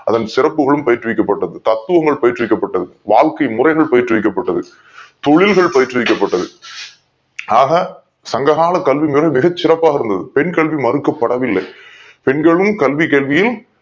அதன் சிறப்புகளும் போற்று விக்கப் பட்டது தப்புகள் போற்று விக்கப் பட்டது வாழ்க்கை முறைகள் போற்று விக்கப் பட்டது தொழில்கள் போற்று விக்கப் பட்டது ஆக சங்ககால கல்வி முறை மிக சிறப்பாக இருந்தது பெண் கல்வி மறுக்க படவில்லை பெண்களும் கல்வி கல்வியும்